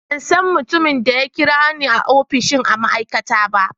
Ban san mutumin da ya kira ni a opishin ma'aikata ba.